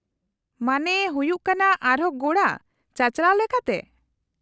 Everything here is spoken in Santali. -ᱢᱟᱱᱮ ᱦᱩᱭᱩᱜ ᱠᱟᱱᱟ ᱟᱨᱦᱚᱸ ᱜᱳᱸᱲᱟ, ᱪᱟᱪᱟᱞᱟᱣ ᱞᱮᱠᱟᱛᱮ ?